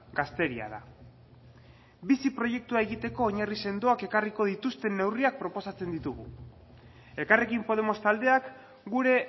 gazteria da bizi proiektua egiteko oinarri sendoak ekarriko dituzten neurriak proposatzen ditugu elkarrekin podemos taldeak gure